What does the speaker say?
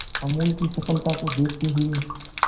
अमूल की सफलता को देखते हुए